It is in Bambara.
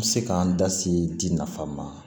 N bɛ se k'an da se di nafa ma